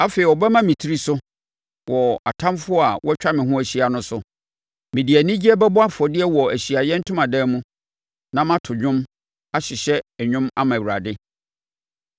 Afei ɔbɛma me tiri so wɔ atamfoɔ a wɔatwa me ho ahyia no so; mede anigyeɛ bɛbɔ afɔdeɛ wɔ nʼAhyiaeɛ Ntomadan mu; na mɛto dwom, ahyehyɛ nnwom ama Awurade.